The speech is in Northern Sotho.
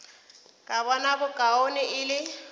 ka bona bokaone e le